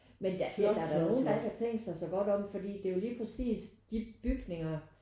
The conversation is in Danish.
Men der ja der er da nogen der ikke har tænkt sig så godt om fordi det er jo lige præcist de bygninger